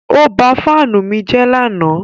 Ó ba fáánù mi jẹ́ lánàá.